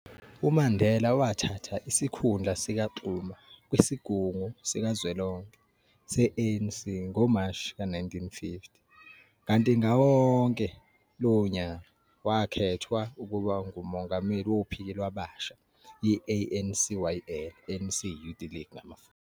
UMandela wathatha isikhundla sikaXuma kwisigungu sikazwelonke se-ANC ngoMashi ka-1950, kanti ngawo lowo nyaka wakhethwa ukuba ngumongameli wophiki lwabasha i-ANCYL.